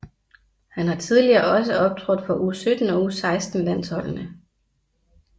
Han har tidligere også optrådt for U17 og U16 landsholdende